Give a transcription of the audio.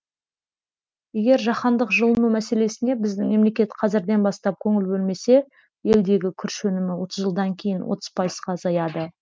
егер жаһандық жылыну мәселесіне біздің мемлекет қазірден бастап көңіл бөлмесе елдегі күріш өнімі отыз жылдан кейін отыз пайызға азаяды